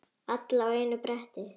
Alla á einu bretti.